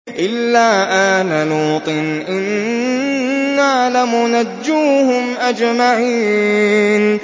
إِلَّا آلَ لُوطٍ إِنَّا لَمُنَجُّوهُمْ أَجْمَعِينَ